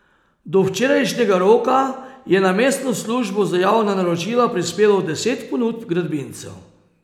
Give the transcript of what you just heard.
Do včerajšnjega roka je na mestno službo za javna naročila prispelo deset ponudb gradbincev.